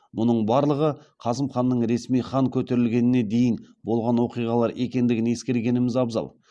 мұның барлығы қасым ханның ресми хан көтерілгеніне дейін болған оқиғалар екендігін ескергеніміз абзал